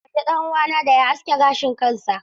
Mahaifina ya umarci ɗan uwana da ya aske gashin kansa.